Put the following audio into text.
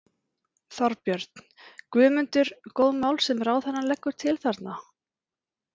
Þorbjörn: Guðmundur, góð mál sem ráðherrann leggur til þarna?